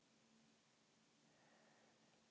Hann varð sex ára í gær.